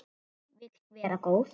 Hún vill vera góð.